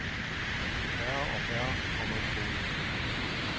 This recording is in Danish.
Færre og færre kommer i skole.